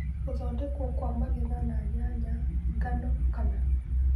Gũthondekwo kwa magetha na nyanya, brassicas, ngano kana